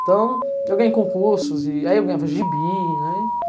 Então, eu ganhei concursos e aí eu ganhava gibi, né?